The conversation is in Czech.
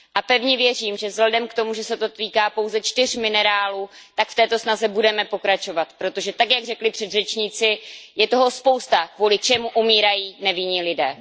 A pevně věřím, že vzhledem k tomu, že se to týká pouze čtyř minerálů, tak v této snaze budeme pokračovat, protože, tak jak řekli předřečníci, je toho spousta, kvůli čemu umírají nevinní lidé.